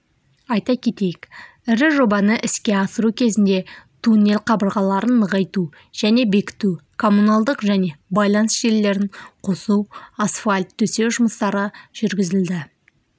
айта кетейік ірі жобаны іске асыру кезінде туннель қабырғаларын нығайту және бекіту коммуналдық және байланыс желілерін қосу асфальт төсеу жұмыстары жүргізілді